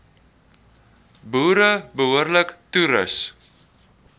boere behoorlik toerus